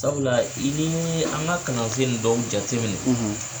Sabula i ni an ka kalansen dɔw jateminɛ,